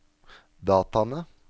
dataene